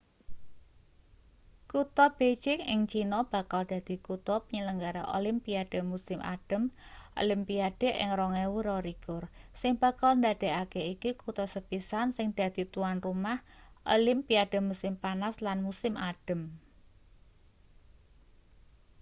kutha beijing ing china bakal dadi kutha penyelenggara olimpiade musim adhem olimpiade ing 2022 sing bakal ndadekake iki kutha sepisan sing dadi tuan rumah olimpiade musim panas lan musim adhem